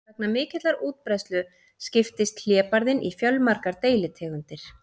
Vegna mikillar útbreiðslu skiptist hlébarðinn í fjölmargar deilitegundir.